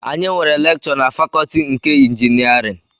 Anyị nwere lekchọ na fakọtị nke ịnjinierịn